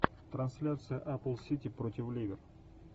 трансляция апл сити против ливер